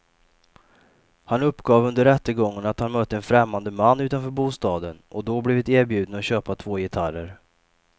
Han uppgav under rättegången att han mött en främmande man utanför bostaden och då blivit erbjuden att köpa två gitarrer.